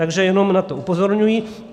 Takže jenom na to upozorňuji.